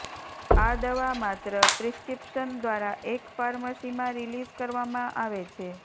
આ દવા માત્ર પ્રિસ્ક્રીપ્શન દ્વારા એક ફાર્મસી માં રિલિઝ કરવામાં આવે છે